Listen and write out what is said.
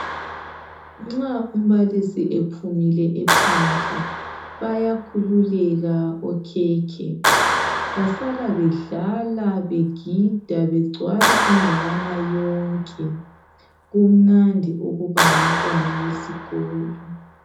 Nxa umbalisi ephumile ephandle bayakhululeka okhekhe basala bedlala begida begcwala indawana yonke. Kumnandi ukuba ngumntwana wesikolo.